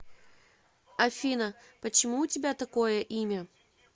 афина почему у тебя такое имя